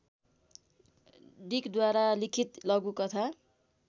डिकद्वारा लिखित लघुकथा